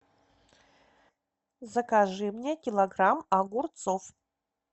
закажи мне килограмм огурцов